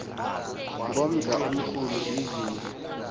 ngomdla omkhulu izindlu